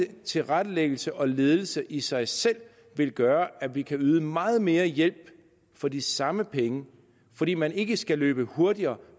tilrettelæggelse og ledelse i sig selv vil gøre at vi kan yde meget mere hjælp for de samme penge fordi man ikke skal løbe hurtigere